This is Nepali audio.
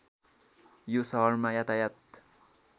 यो सहरमा यातायात